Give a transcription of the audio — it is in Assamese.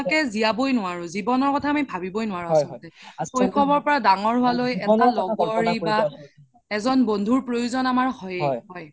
জিয়াবই নোৱৰো জিৱনৰ কথা আমি ভাবিব্ৱে নোৱাৰো আচলতে শৈশৱ ৰ পৰা দাঙৰ হুৱালৈ এটা লগৰি বা এজন বন্ধুৰ আমাৰ প্ৰয়োজন হয়ে